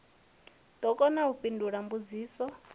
ḓo kona u fhindula mbudziso